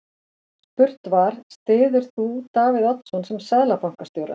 Spurt var, styður þú Davíð sem Seðlabankastjóra?